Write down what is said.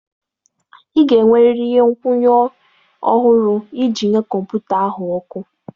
Ị ga-enwerịrị ihe nkwụnye ọhụrụ iji nye kọmputa ahụ ọkụ.